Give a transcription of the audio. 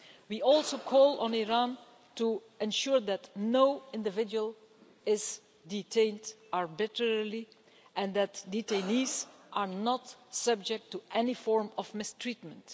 We also call on Iran to ensure that no individual is detained arbitrarily, and that detainees are not subject to any form of mistreatment.